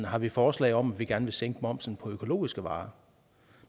har vi forslag om at vi gerne vil sænke momsen på økologiske varer